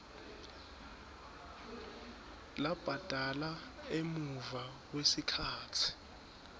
labhadala emuva kwesikhatsi